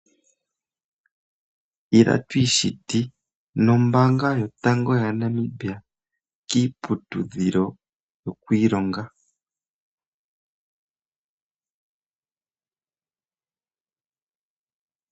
Ila twiishiti nombaanga yotango yaNamibia kiiputudhilo yokwiilonga.